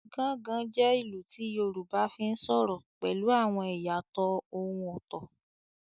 “Gangan” jẹ́ ìlù tí Yorùbá fi ń sọ̀rọ̀ pẹ̀lú àwọn ìyàtọ̀ ohùn ọ̀tọ̀.